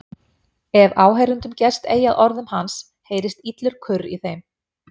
Ef áheyrendum gest eigi að orðum hans heyrist illur kurr í þeim.